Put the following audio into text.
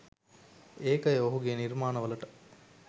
ඒකය ඔහුගෙ නිර්මාණවලට